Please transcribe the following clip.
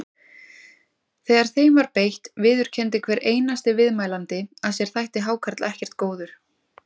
Þegar þeim var beitt viðurkenndi hver einasti viðmælandi að sér þætti hákarl ekkert góður.